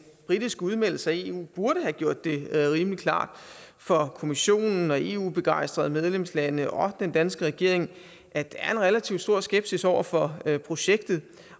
britiske udmeldelse af eu burde have gjort det rimelig klart for kommissionen og eu begejstrede medlemslande og den danske regering at der er relativt stor skepsis over for projektet